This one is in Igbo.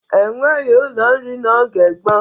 E nweghi ụlọ nri n'oge gboo.